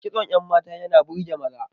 Kitson yan mata yana burge maza